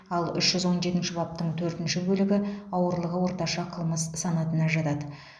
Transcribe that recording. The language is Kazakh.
ал үш жүз он жетінші баптың төртінші бөлігі ауырлығы орташа қылмыс санатына жатады